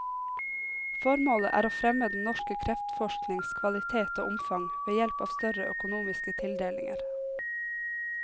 Formålet er å fremme den norske kreftforsknings kvalitet og omfang ved hjelp av større økonomiske tildelinger.